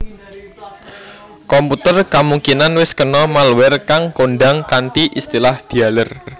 Komputer kamungkinan wis kena malware kang kondhang kanthi istilah dialer